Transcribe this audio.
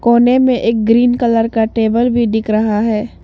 कोने में एक ग्रीन कलर का टेबल भी दिख रहा है।